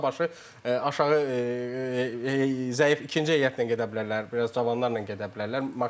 Uzaqbaşı aşağı zəif ikinci heyətlə gedə bilərlər, biraz cavanlarla gedə bilərlər.